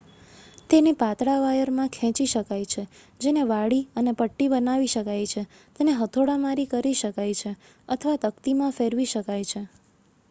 તેને પાતળા વાયરમાં ખેંચી શકાય છે જેને વાળી અને પટ્ટી બનાવી શકાયછે તેને હથોડા મારી કરી શકાય છેઅથવા તકતીમાં ફેરવી શકાય છે